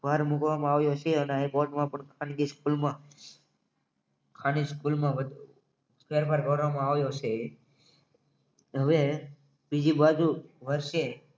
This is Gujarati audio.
ભાર મૂકવામાં આવ્યો છે અને હાઇકોર્ટમાં પણ ખાનગી સ્કૂલમાં આને સ્કૂલમાં વધારો કરવામાં આવે છે હવે બીજી બાજુ વર્ષે